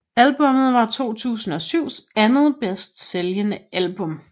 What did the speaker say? Albummet var 2007s andet bedst sælgende album